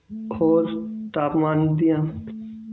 ਹੋਰ ਤਾਪਮਾਨ ਦੀਆਂ